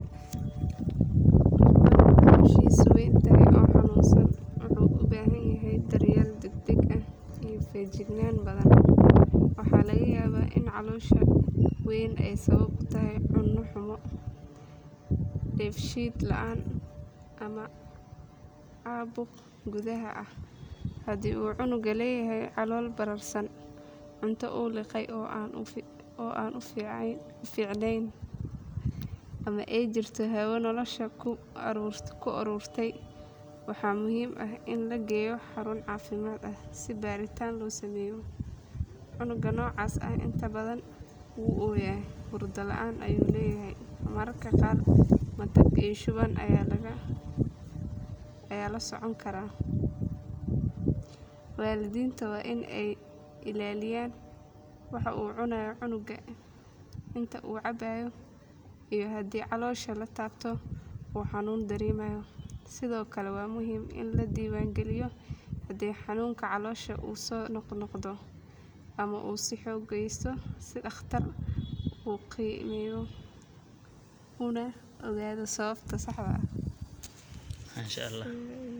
Kal iyo mooya waa erayo hodan ku ah dhaqanka af Soomaaliga kuwaas oo si gaar ah loogu adeegsado tilmaamaha iyo maahmaahyada bulshada dhexdeeda. Kal waxaa loola jeedaa qof leh niyad adag, geesinimo iyo adkaysi wuxuuna bulshada dhexdeeda ka yahay qof lagu daydo laguna kalsoonaado. Mooya dhanka kale waxay tilmaamaysaa qof aan lahayn go’aan adag ama aan lahayn karti uu kaga mid noqdo kuwa wax taraya bulshada. Marka bulshada laga hadlayo, waxaa muhiim ah in lagu dhiirrigeliyo dad kal ah kuwaas oo qaata masuuliyad si ay horumar iyo nabad u horseedaan. Haddii dadku ay noqdaan mooya, micnaheedu waa in bulshada aysan lahayn tiir adag oo horumar gaarsiin kara sidaas darteed kal iyo mooya waa labo tusmo oo tilmaamaya doorka qofka ee bulshada dhexdeeda. Waxaa la gudboon qof kasta inuu noqdo kal si uu wax ugu kordhiyo dadkiisa kuna dayasho u noqdo jiilka soo koraya.